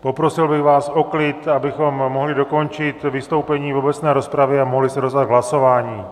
Poprosil bych vás o klid, abychom mohli dokončit vystoupení v obecné rozpravě a mohli se dostat k hlasování.